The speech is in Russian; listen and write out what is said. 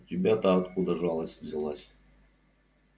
у тебя-то откуда жалость взялась